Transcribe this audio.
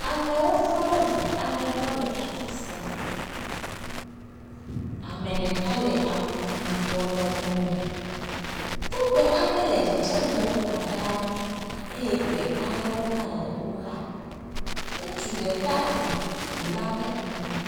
Amewo tɔ ɖe eŋu ɖe gbɔ le afisia. Ame ɖeka le awu abɔ lɔbɔ me. Togbe aɖe le dzedzem le woxa ɖa eye gbe aɖe le wo xa. Ŋutsu ɖeka ŋu ŋu la ƒe ŋkume.